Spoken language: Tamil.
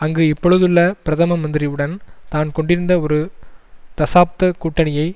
அங்கு இப்பொழுதுள்ள பிரதம மந்திரி உடன் தான் கொண்டிருந்த ஒரு தசாப்த கூட்டணியை